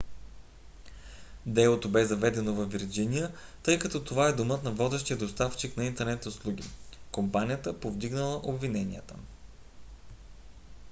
делото бе заведено във вирджиния тъй като това е домът на водещия доставчик на интернет услуги aol – компанията повдигнала обвиненията